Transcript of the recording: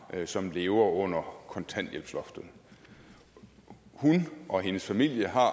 som lever under kontanthjælpsloftet hun og hendes familie har